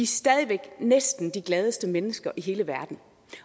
stadig væk næsten de gladeste mennesker i hele verden